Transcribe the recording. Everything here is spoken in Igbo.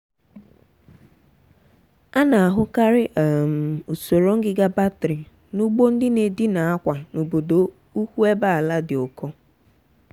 a na-ahụkarị um usoro ngịga batrị n’ugbo ndị na-edina akwa n’obodo ukwu ebe ala dị ụkọ.